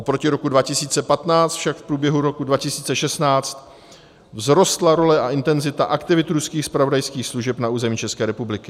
Oproti roku 2015 však v průběhu roku 2016 vzrostla role a intenzita aktivit ruských zpravodajských služeb na území České republiky.